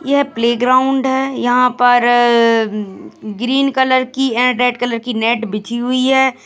यह प्लेग्राउंड है यहाँ पर-र-र ग्रीन कलर की अ रेड कलर की नेट बिछी हुई है।